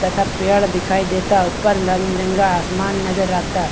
तथा पड़े दिखाई देता ऊपर रंग-बिरंगा आसमान नज़र आता।